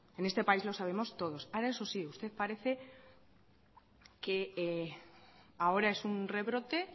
en este país lo sabemos todos ahora eso sí usted parece que ahora es un rebrote